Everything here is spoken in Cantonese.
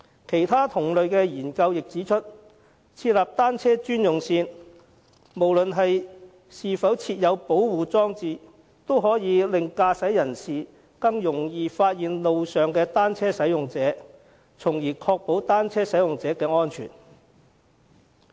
其他同類研究亦指出，設立單車專用線，無論是否設有保護裝置，也可以令駕駛人士更易發現路上的單車使用者，從而確保單車使用者的安全。